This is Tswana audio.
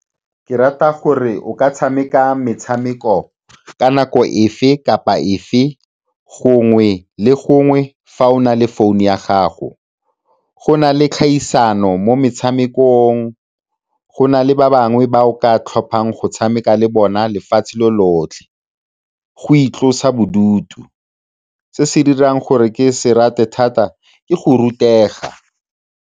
Ke rata gore o ka tshameka metshameko ka nako efe kapa efe, gongwe le gongwe fa o na le founu ya gago. Go na le kgaisano mo metshamekong, go na le ba bangwe ba o ka tlhophang go tshameka le bona lefatshe lo lotlhe go itlosa bodutu. Se se dirang gore ke se rate thata ke go rutega.